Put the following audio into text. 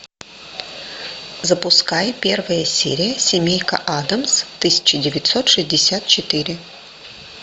запускай первая серия семейка адамс тысяча девятьсот шестьдесят четыре